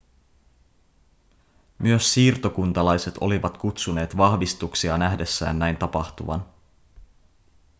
myös siirtokuntalaiset olivat kutsuneet vahvistuksia nähdessään näin tapahtuvan